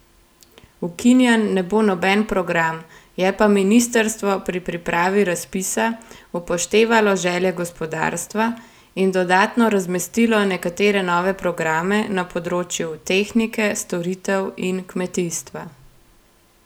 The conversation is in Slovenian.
Ukinjen ne bo noben program, je pa ministrstvo pri pripravi razpisa upoštevalo želje gospodarstva in dodatno razmestilo nekatere nove programe na področju tehnike, storitev in kmetijstva.